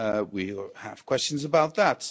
We will have questions about that.